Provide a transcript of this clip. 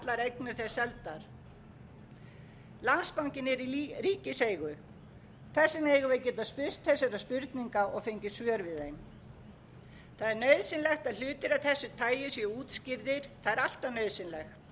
eignir þess seldar landsbankinn er í ríkiseigu þess vegna eigum við að geta spurt þessara spurninga og fengið svör við þeim það er nauðsynlegt að hlutir af þessu tagi séu útskýrðir það er alltaf nauðsynlegt en